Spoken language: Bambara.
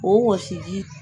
O wɔsiji